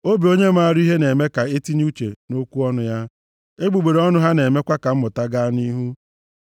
Obi onye maara ihe na-eme ka e tinye uche nʼokwu ọnụ ya, egbugbere ọnụ ha na-emekwa ka mmụta gaa nʼihu.